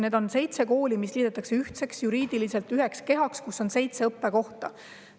Need on seitse kooli, mis liidetakse üheks, juriidiliselt üheks kehaks, kus on seitse õppekohta.